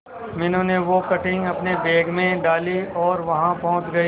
मीनू ने वो कटिंग अपने बैग में डाली और वहां पहुंच गए